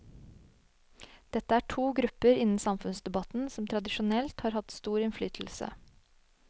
Dette er to grupper innen samfunnsdebatten som tradisjonelt har hatt stor innflytelse.